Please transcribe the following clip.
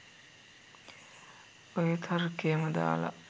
ඔය තර්කයම දාලා